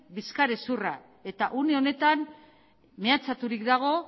bizkarrezurra eta une honetan mehatxaturik dago